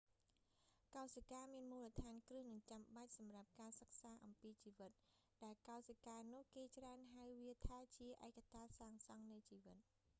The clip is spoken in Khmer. កោសិកាមានមូលដ្ឋានគ្រឹះ​និងចំបាច់សម្រាប់​ការសិក្សា​អំពីជីវិត ដែលកោសិការនោះ​គេច្រើនហៅវាថាជា ​ ឯកតាសាងសង់នៃជីវិត ” ។